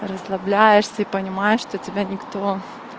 расслабляешься и понимаешь что тебя никто